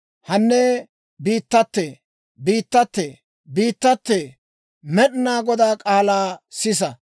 Hanne biittatee, biittatee, biittatee! Med'inaa Godaa k'aalaa sisa!